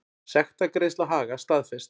Sektargreiðsla Haga staðfest